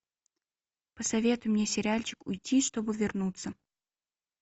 посоветуй мне сериальчик уйти чтобы вернуться